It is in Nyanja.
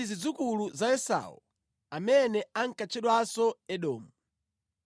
Nazi zidzukulu za Esau amene ankatchedwanso Edomu: